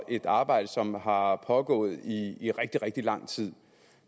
et arbejde som har pågået i i rigtig rigtig lang tid